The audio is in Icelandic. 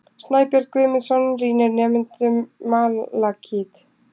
Snæbjörn Guðmundsson sýnir nemendum malakít.